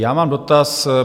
Já mám dotaz.